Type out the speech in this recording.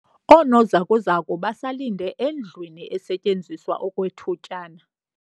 Oonozakuzaku basalinde endlwini esetyenziswa okwethutyana.